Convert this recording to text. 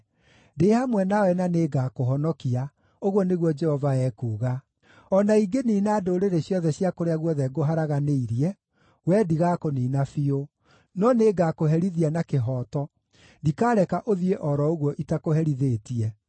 Ndĩ hamwe nawe na nĩngakũhonokia,’ ũguo nĩguo Jehova ekuuga. ‘O na ingĩniina ndũrĩrĩ ciothe cia kũrĩa guothe ngũharaganĩirie, wee ndigakũniina biũ. No nĩngakũherithia na kĩhooto; ndikaareka ũthiĩ o ro ũguo itakũherithĩtie.’